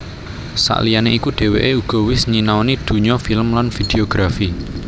Sakliyané iku déwéké uga wis nyinaoni dunya film lan videografi